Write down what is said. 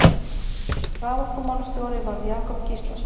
Raforkumálastjóri varð Jakob Gíslason.